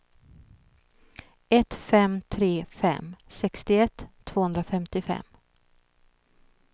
ett fem tre fem sextioett tvåhundrafemtiofem